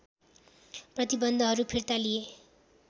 प्रतिबन्धहरु फिर्ता लिए